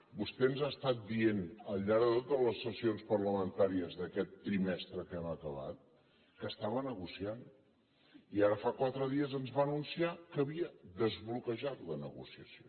vostè ens ha estat dient al llarg de totes les sessions parlamentàries d’aquest trimestre que hem acabat que estava negociant i ara fa quatre dies que ens va anunciar que havien desbloquejat la negociació